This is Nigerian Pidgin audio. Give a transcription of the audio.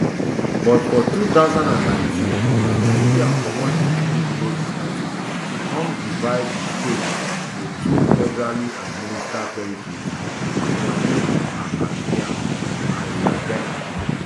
but for two thousand and nineteen india comot di privilege status come divide di state to two federally administered territories jammu and kashmir and ladakh